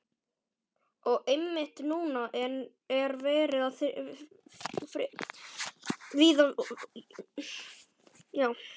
Og einmitt núna er verið að friða víða í Vestur-Evrópu.